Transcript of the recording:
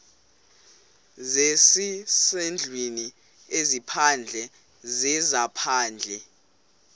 zezasendlwini ezaphandle zezaphandle